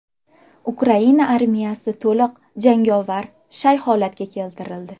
Ukraina armiyasi to‘liq jangovar shay holatga keltirildi.